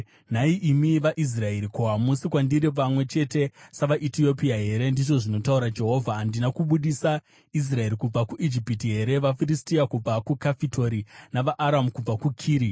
“Nhai imi vaIsraeri, ko, hamusi kwandiri vamwe chete savaEtiopia here?” ndizvo zvinotaura Jehovha. “Handina kubudisa Israeri kubva kuIjipiti here, vaFiristia kubva kuKafitori navaAramu kubva kuKiri?